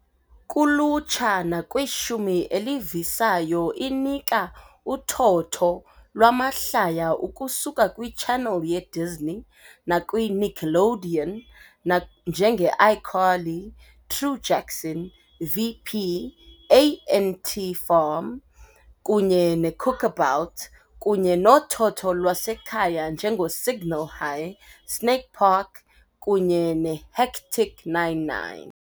Kulutsha nakwishumi elivisayo inika uthotho lwamahlaya ukusuka kwiChannel yeDisney nakwi Nickelodeon, nak njenge ICarly, True Jackson, VP, A.N.T. Farm, kunye neCookabout, kunye nothotho lwasekhaya njengoSignal High, Snake Park kunye Hectic Nine-9.